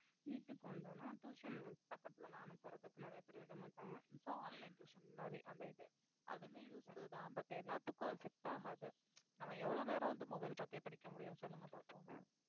neet க்கு வந்த உடனே tuition பக்கத்துல எல்லாம் அனுப்புறதுக்கு நிறைய பேர் விட மாட்டாங்க so online tuition மாதிரி அந்த இது அதுமே useful தான் but எல்லாத்துக்கும் அது set ஆகாது நம்ம எவ்வளவு நேரம் வந்து mobile பாத்தே படிக்க முடியும் சொல்லுங்க பாப்போம்